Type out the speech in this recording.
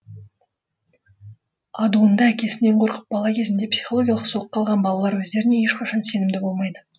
адуынды әкесінен қорқып бала кезінде психологиялық соққы алған балалар өздеріне ешқашан сенімді болмайды